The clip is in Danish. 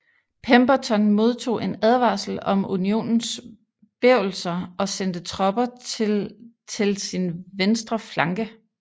Pemberton modtog en advarsel om Unionens bevelser og sendte tropper til til sin venstre flanke